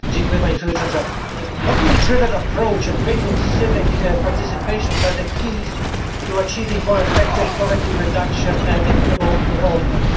Madam President, a locally driven approach and greater civic participation are the keys to achieving more effective poverty reduction and equitable development.